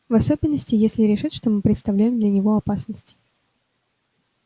в особенности если решит что мы представляем для него опасность